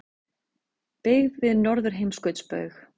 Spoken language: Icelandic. Byggð við Norðurheimskautsbaug.